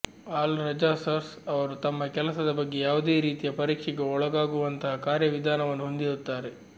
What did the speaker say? ಅಲ್ ರೆಜಾರ್ಸರ್ಸ್ ಅವರು ತಮ್ಮ ಕೆಲಸದ ಬಗ್ಗೆ ಯಾವುದೇ ರೀತಿಯ ಪರೀಕ್ಷೆಗೆ ಒಳಗಾಗುವಂತಹ ಕಾರ್ಯವಿಧಾನವನ್ನು ಹೊಂದಿರುತ್ತಾರೆ